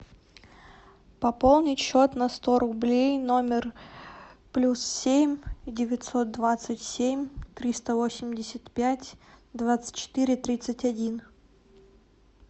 пополнить счет на сто рублей номер плюс семь девятьсот двадцать семь триста восемьдесят пять двадцать четыре тридцать один